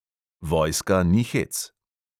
Vojska ni hec.